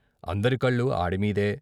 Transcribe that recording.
అందరి కళ్ళూ ఆడిమీదే..